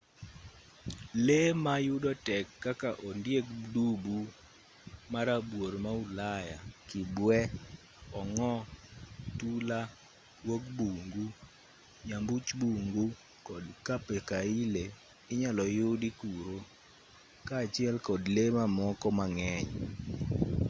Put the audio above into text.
lee ma yudo tek kaka ondieg dubu ma rabuor ma ulaya kibwee ongo tula guog bungu nyambuch bungu kod capercaille inyalo yudi kuro kaachiel kod lee mamoko mang'eny